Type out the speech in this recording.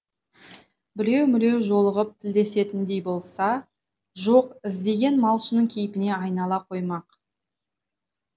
біреу міреу жолығып тілдесетіндей болса жоқ іздеген малшының кейпіне айнала қоймақ